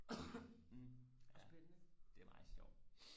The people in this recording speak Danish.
ja det er meget sjovt